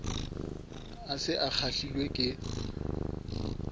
a se a kgahlilwe ke